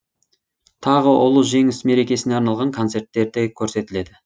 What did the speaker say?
тағы ұлы жеңіс мерекесіне арналған концерттер де көрсетіледі